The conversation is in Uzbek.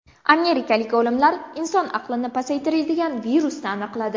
Amerikalik olimlar inson aqlini pasaytiradigan virusni aniqladi.